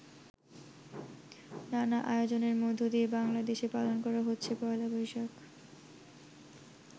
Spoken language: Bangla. নানা আয়োজনের মধ্য দিয়ে বাংলাদেশে পালন করা হচ্ছে পহেলা বৈশাখ।